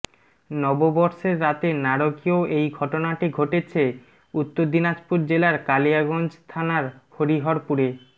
র্ষবরণের রাতে নারকীয় এই ঘটনাটি ঘটেছে উত্তর দিনাজপুর জেলার কালিয়াগঞ্জ থানার হরিহরপুরে